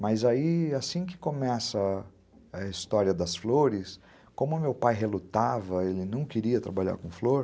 Mas aí, assim que começa a história das flores, como meu pai relutava, ele não queria trabalhar com flor,